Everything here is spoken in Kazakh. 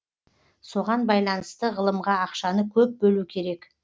соған байланысты ғылымға ақшаны көп бөлу керек